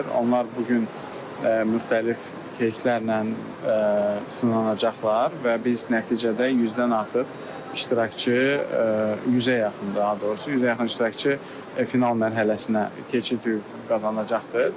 Onlar bu gün müxtəlif keyslərlə sınanacaqlar və biz nəticədə 100-dən artıq iştirakçı, 100-ə yaxın daha doğrusu, 100-ə yaxın iştirakçı final mərhələsinə keçid hüququ qazanacaqdır.